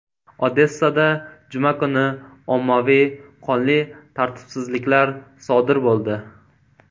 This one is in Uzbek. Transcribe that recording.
Odessada juma kuni ommaviy qonli tartibsizliklar sodir bo‘ldi.